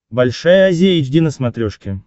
большая азия эйч ди на смотрешке